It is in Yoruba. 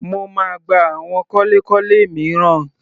Mo máa gba àwọn kọ́lékọ́lé mìíràn.